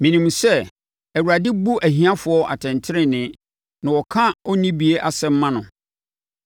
Menim sɛ Awurade bu ahiafoɔ atɛntenenee na ɔka onnibie asɛm ma no.